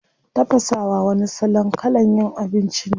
Tafasawa wani salon kalan yin abinci ne.